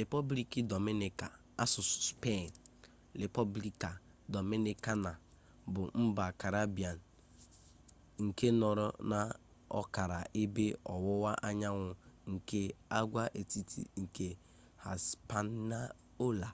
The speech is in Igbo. republiki dominica asụsụ spaini: república dominicana bụ mba karibbiin nke nọrọ n’ọkara ebe ọwụwa anyanwụ nke agwaetiti nke hispaniola